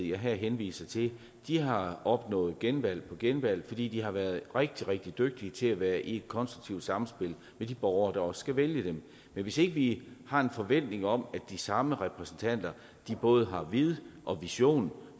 jeg her henviser til har opnået genvalg på genvalg fordi de har været rigtig rigtig dygtige til at være i et konstruktivt samspil med de borgere der også skal vælge dem men hvis ikke vi har en forventning om at de samme repræsentanter både har vid og vision